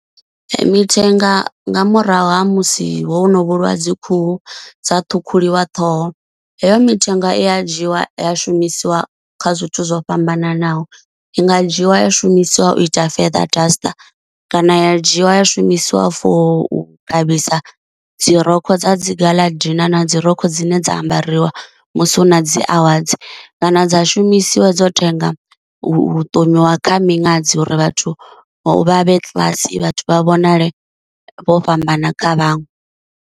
Mithenga nga murahu ha musi ho no vhulawa dzi khuhu dza ṱhukhuliwa ṱhoho heyo mithenga i ya dzhiwa ya shumisiwa kha zwithu zwo fhambananaho, i nga dzhiwa ya shumisiwa u ita father duster kana ya dzhiwa ya shumisiwa for u ṱavhisa dzi rokho dza dzi gala dina na dzi rokho dzine dza ambariwa musi hu na dzi awadzi, kana dza shumisiwa dzo tenda u thomiwa kha miṅadzi uri vhathu vha vhe classy vhathu vha vhonale vho fhambana kha vhaṅwe.